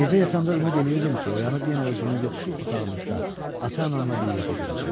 Gecə yatanda ümid edirdim ki, oyanıb yenə özümü yoxsul otağımızda ata-anamla bir yerdə görəcəm.